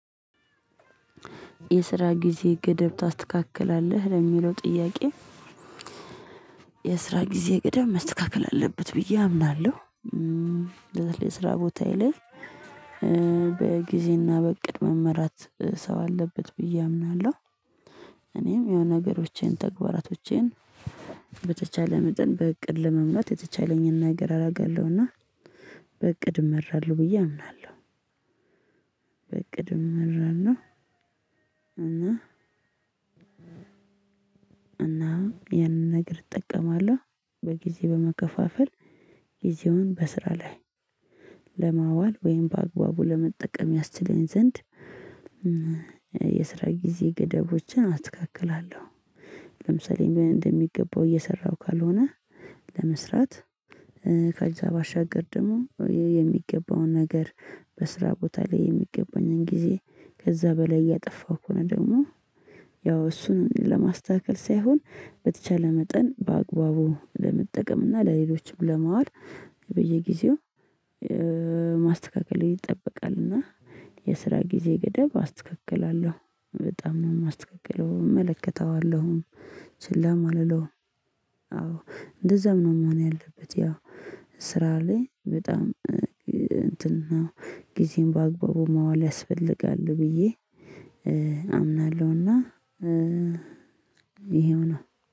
የስራ ጊዜ ገደብ ታስተካክላለህ ለሚለው ጥያቄ? የስራ ጊዜ ገደብ መስተካከል አለበት ብዬ አምናለሁ። ለስራ ቦታዬ ላይ በጊዜና በእቅድ መመራት ሰው አለበት ብዬ አምናለሁ። እኔም የሆነ ነገሮቼን ተግባራቶቼን በተቻለ መጠን በእቅድ ለመምራት የተቻለኝን ነገር አረጋለሁና። በእቅድ እመራለሁ ብዬ አምናለሁ። በእቅድ እመራለሁ። እና እና ያንን ነገር እጠቀማለሁ በጊዜ በመከፋፈል ጊዜውን በስራ ላይ ለማዋል ወይም በአግባቡ ለመጠቀም ያስችለኝ ዘንድ። የስራ ጊዜ ገደቦችን አስተካክላለሁ። ለምሳሌ እንደሚገባው እየሰራሁ ካልሆነ ለመስራት ከዛ ባሻገር ደግሞ የሚገባውን ነገር በስራ ቦታ ላይ የሚገባኝን ጊዜ ከዛ በላይ እያጠፋው ከሆነ ደግሞ ያው እሱን ለማስተካከል ሳይሆን በተቻለ መጠን በአግባቡ ለመጠቀም እና ለሌሎችም ለማዋል። በየጊዜው ማስተካከል ይጠበቃል። እና የስራ ጊዜ ገደብ አስተካክላለሁ በጣም ነው የማስተካክለው እመለከተዋለሁም። ችላም አልለውም። አዎ እንደዛም ነው መሆን ያለበት። ያው ስራ ላይ በጣም እንትን ነው ጊዜን በአግባቡ ማዋል ያስፈልጋል ብዬ አምናለሁና ይሄው ነው